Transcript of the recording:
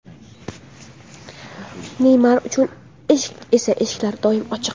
Neymar uchun esa eshiklar doimo ochiq.